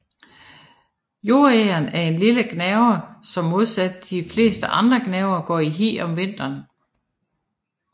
Jordegern er en lille gnaver som modsat de fleste andre gnavere går i hi om vinteren